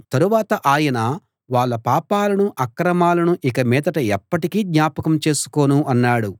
తరువాత ఆయన వాళ్ళ పాపాలనూ అక్రమాలనూ ఇక మీదట ఎప్పటికీ జ్ఞాపకం చేసుకోను అన్నాడు